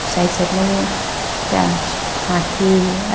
side side ma bo acha hathi aye.